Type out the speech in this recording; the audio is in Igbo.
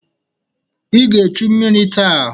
I ga-echu mmiri taa!